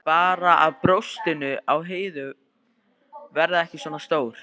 Bara að brjóstin á Heiðu verði ekki svona stór.